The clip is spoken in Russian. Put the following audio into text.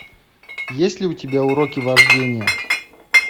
есть ли у тебя уроки вождения